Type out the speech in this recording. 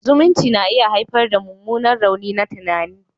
Zumunci na iya haifar da mummunan rauni na tunani.